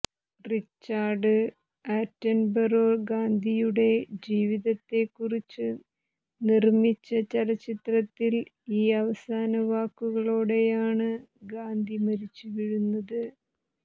Richard Attenborough ഗാന്ധിയുടെ ജീവിതത്തെക്കുറിച്ച് നിർമ്മിച്ച ചലച്ചിത്രത്തിൽ ഈ അവസാന വാക്കുകളോടെയാണ് ഗാന്ധി മരിച്ചുവീഴുന്നത്